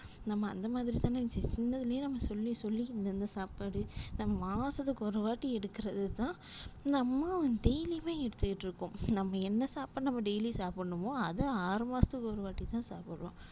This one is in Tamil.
நம்ம அந்த மாதிரிதான் சின்னதுலையே நாம சொல்லி சொல்லி இந்தந்த சாப்பாடு நம்ம மாசத்துக்கு ஒருவாட்டி எடுக்குறதுதான் நம்ம daily யுமே எடுத்துட்டு இருக்கோம் நம்ம என்ன சாப்பாடு நம்ம daily சாப்டனுமோ அத ஆறு மாசத்துக்கு ஒருவாட்டிதான் சாப்புட்றோம்.